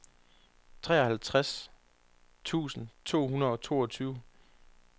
treoghalvtreds tusind to hundrede og toogtyve